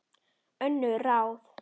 Önnur ráð